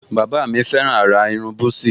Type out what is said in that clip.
Bàbá mi fẹ́ràn àrà irun búsí